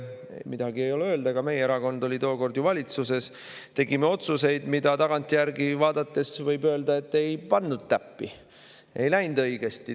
Midagi ei ole öelda, ka meie erakond oli tookord ju valitsuses ja tegime otsuseid, mille kohta tagantjärgi vaadates võib öelda, et me ei pannud täppi, ei läinud õigesti.